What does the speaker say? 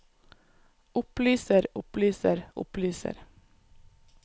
opplyser opplyser opplyser